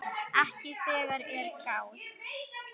Ekki þegar að er gáð.